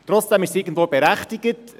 Trotzdem ist es irgendwo berechtigt.